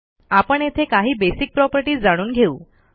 आपण येथे काही बेसिक प्रॉपर्टीज जाणून घेऊ